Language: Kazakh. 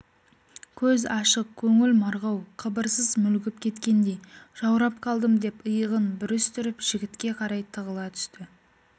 көз ашық көңіл марғау қыбырсыз мүлгіп кеткендей жаурап қалдым деп иығын бүрістіріп жігітке қарай тығыла түсті